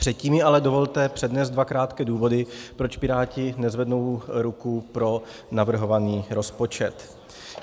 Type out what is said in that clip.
Předtím mi ale dovolte přednést dva krátké důvody, proč Piráti nezvednou ruku pro navrhovaný rozpočet.